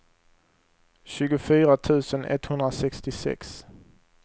tjugofyra tusen etthundrasextiosex